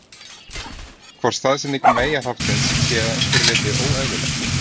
Hvort staðsetning meyjarhaftsins sé að einhverju leyti óeðlilegt?